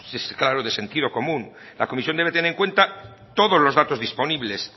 claro de sentido común la comisión debe tener en cuenta todos los datos disponibles